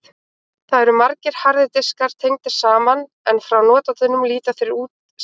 Þar eru margir harðir diskar tengdir saman en frá notandanum líta þeir út sem einn.